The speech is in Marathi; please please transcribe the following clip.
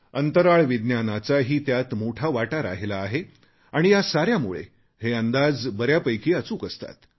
अंतराळ विज्ञानाचाही त्यात मोठा वाटा राहिला आहे व या साऱ्यामुळे हे अंदाज बऱ्यापैकी अचूक असतात